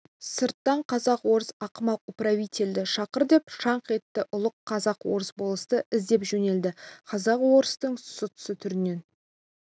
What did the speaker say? сырттан казак-орыс ақымақ управительді шақыр деп шаңқ етті ұлық казак-орыс болысты іздеп жөнелді қазақ-орыстың сұсты түрінен